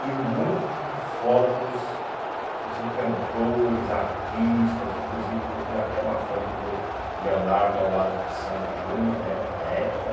E um monte de fotos de cantores, artistas, inclusive eu vi até uma foto do Leonardo ao lado de Sandy Júnior né na época.